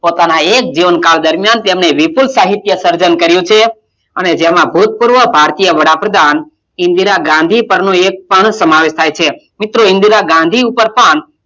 પોતાનાં એક જીવનકાળ દરમિયાન તેમણે વિપુલ સાહિત્યનું સર્જન કર્યું છે અને તેમાં ભુતપૂર્વ ભારતીય વડાપ્રધાન ઇન્દિરા ગાંધી પરનું એક પણ સમાવેશ થાય છે મિત્રો, ઇન્દિરા ગાંધી ઉપર પણ,